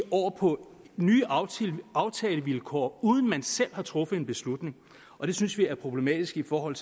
over på nye aftalevilkår uden at man selv har truffet beslutningen og det synes vi er problematisk i forhold